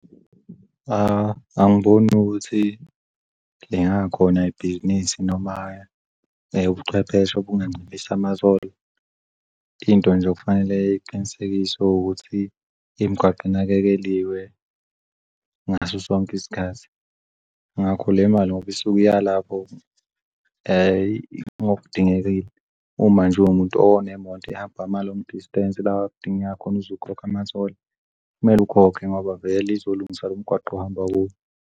Angiboni ukuthi lingakhona ibhizinisi noma ubuchwepheshe obunganciphisa ma-toll. Into nje okufanele iqinisekiswe ukuthi imgwaqo inakekeliwe ngaso sonke isikhathi. Ngakho lemali ngoba isuke iyalapho ngokudingekile uma nje uwumuntu onemoto ehamba ama-long distance lawa kudingeka khona uzokhokha ama-toll kumele ukhokhe ngoba vele izolungisa lomgwaqo ohamba kuwo.